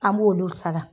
An b'olu sara